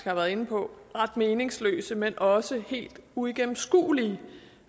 har været inde på ret meningsløse men også helt uigennemskuelige